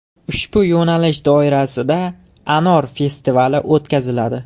Ushbu yo‘nalish doirasida Anor festivali o‘tkaziladi.